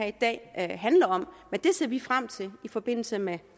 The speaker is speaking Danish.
i dag handler om men det ser vi frem til i forbindelse med